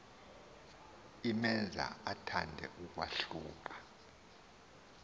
imenza athande ukwahluka